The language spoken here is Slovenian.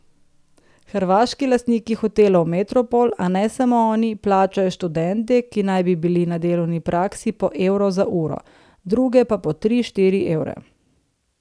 Hrvaški lastniki Hotelov Metropol, a ne samo oni, plačajo študente, ki naj bi bili na delovni praksi, po evro za uro, druge pa po tri, štiri evre.